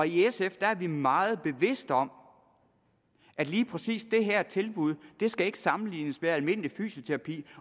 i sf er vi meget bevidste om at lige præcis det her tilbud skal sammenlignes med almindelig fysioterapi